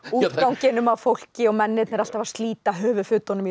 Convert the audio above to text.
útganginum á fólki og mennirnir alltaf að slíta